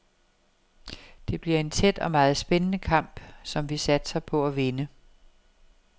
Det bliver en tæt og meget spændende kamp, som vi satser på at vinde.